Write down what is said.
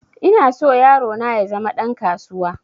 Ina so yaro na ya zama ɗan kasuwa